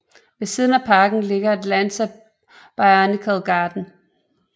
Ved siden af parken ligger Atlanta Botanical Garden